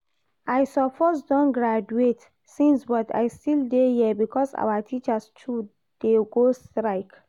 I suppose don graduate since but I still dey here because our teachers too dey go strike